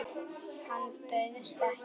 Hann bauðst ekki.